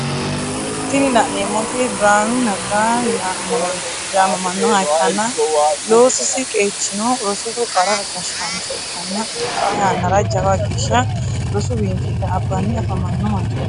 Tini lanemoti biranu nega yamamanoha ikana loosisi qechino rosoho qara gashancho ikana xa yanara jawa gesha rosu binifile abani afamano manchoti.